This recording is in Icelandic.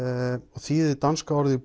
og þýðið danska orðið